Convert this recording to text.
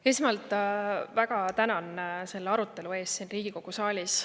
Esmalt väga tänan selle arutelu eest siin Riigikogu saalis.